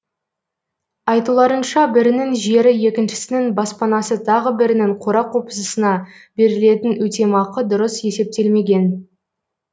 айтуларынша бірінің жері екіншісінің баспанасы тағы бірінің қора қопсысына берілетін өтемақы дұрыс есептелмеген